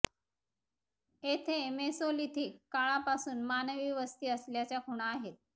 येथे मेसोलिथिक काळापासून मानवी वस्ती असल्याच्या खुणा आहेत